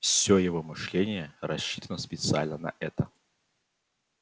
всё его мышление рассчитано специально на это